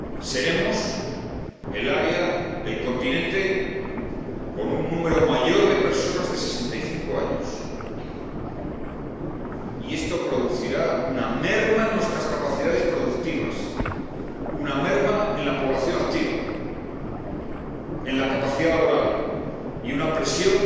Seremos el área, el continente con un número mayor de personas de 65 años y esto producirá una merma en nuestras capacidades productivas, una merma en la población activa, en la capacidad laboral, y supondrá una presión